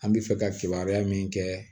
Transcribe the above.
An bɛ fɛ ka kibaruya min kɛ